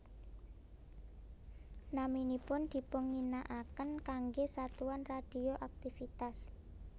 Naminipun dipunginaaken kanggé satuan radioaktivitas